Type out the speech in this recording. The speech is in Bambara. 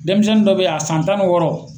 Denmisɛnni dɔ bɛ ye a san tan ni wɔɔrɔ.